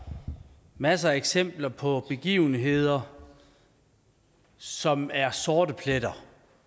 masser af eksempler på begivenheder som er sorte pletter